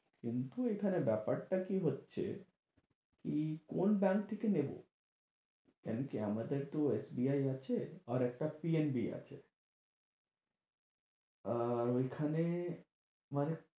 কিন্তু এখানে ব্যাপারটা কি হচ্ছে কী কোন bank থেকে নেব? এমনিতেই আমাদের তো SBI আছে, আর একটা PNB আছে। আর ঐখানে মানে